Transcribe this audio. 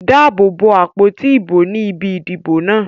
Dáàbò bo àpótí ìbò ní ibi ìdìbò náà.